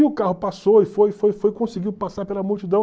E o carro passou e foi, foi, foi, conseguiu passar pela multidão.